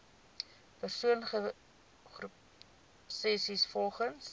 persoon groepsessies volgens